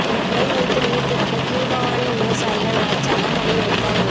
முறை வைத்து நீா் திறக்க கீழ்பவானி விவசாயிகள் நலச் சங்கம் வலியுறுத்தல்